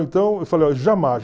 Então, eu falei,